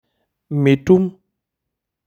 Mitum.